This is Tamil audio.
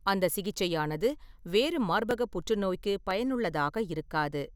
அந்த சிகிச்சையானது வேறு மார்பக புற்றுநோய்க்கு பயனுள்ளதாக இருக்காது.